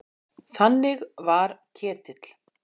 Þannig var Ketill.